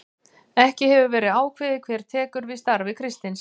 Ekki hefur verið ákveðið hver tekur við starfi Kristins.